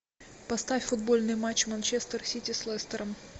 поставь футбольный матч манчестер сити с лестером